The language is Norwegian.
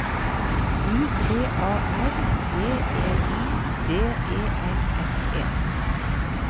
U T A R B E I D E L S E